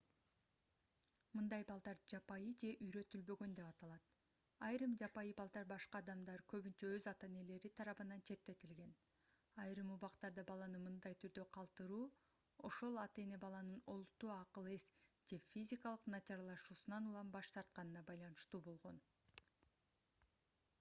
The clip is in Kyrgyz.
мындай балдар жапайы же үйрөтүлбөгөн деп аталат. айрым жапайы балдар башка адамдар көбүнчө өз ата-энелери тарабынан четтетилген. айрым убактарда баланы мындай түрдө калтыруу ошол ата-эне баланын олуттуу акыл-эс же физикалык начарлашуусунан улам баш тартканына байланыштуу болгон